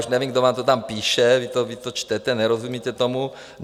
Už nevím, kdo vám to tam píše, vy to čtete, nerozumíte tomu.